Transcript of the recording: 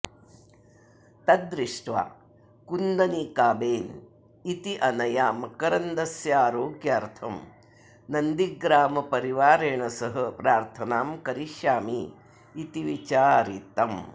तत् दृष्ट्वा कुन्दनीकाबेन इत्यनया मकरन्दस्य आरोग्यार्थं नन्दिग्रामपरिवारेण सह प्रार्थनां करिष्यामि इति विचारितम्